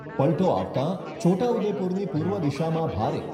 પલટો આવતાં છોટાઉદેપુરની પૂર્વ દિશામાં ભારે